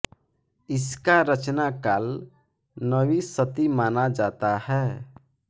इसका रचना काल नवीं शती माना जाता है